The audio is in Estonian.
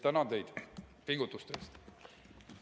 Tänan teid pingutuste eest!